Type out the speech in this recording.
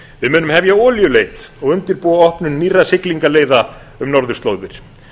við munum hefja olíuleit og undirbúa opnun nýrra siglingaleiða um norðurslóðir